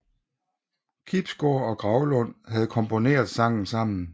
Kibsgaard og Graulund havde komponeret sangen sammen